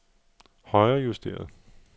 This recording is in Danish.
højrejusteret